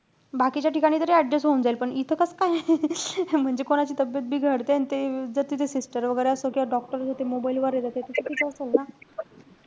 बाकीच्या ठिकाणी तरी adjust होऊन जाईल. पण इथं कस काय? म्हणजे कोणाची तब्येत बिघडते. अन ते जर तिथे sister वैगेरे असता किंवा doctor त ते mobile वर आहे. त ते risky च असेल ना.